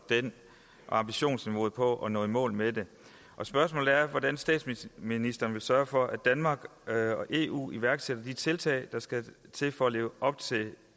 ambitionsniveauet og når i mål med det spørgsmålet er hvordan statsministeren vil sørge for at danmark og eu iværksætter de tiltag der skal til for at leve op til